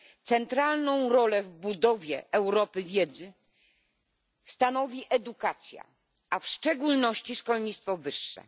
Centralną rolę w budowie Europy wiedzy stanowi edukacja, a w szczególności szkolnictwo wyższe.